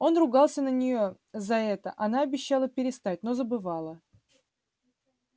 он ругался на нее за это она обещала перестать но забывала